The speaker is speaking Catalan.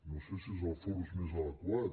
no sé si és el fòrum més adequat